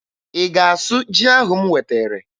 Ị ga-asụ ji ahụ m wetere?